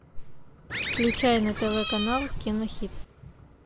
включай на тв канал кинохит